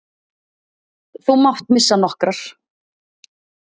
Þú mátt missa nokkrar.